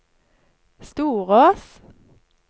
Storås